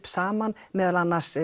saman meðal annars